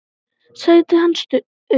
Sætið hans autt.